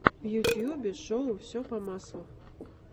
в ютьюбе шоу все по маслу